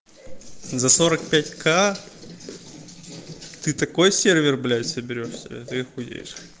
за сорок пять ка ты такой сервер блядь соберёшь себе ты ахуеешь